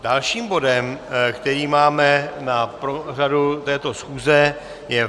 Dalším bodem, který máme na pořadu této schůze, je